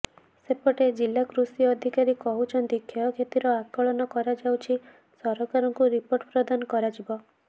ସେପଟେ ଜିଲ୍ଲା କୃଷି ଅଧିକାରୀ କହୁଛନ୍ତି କ୍ଷୟକ୍ଷତିର ଆକଳନ କରାଯାଉଛି ସରକାରଙ୍କୁ ରିପୋର୍ଟ ପ୍ରଦାନ କରାଯିବ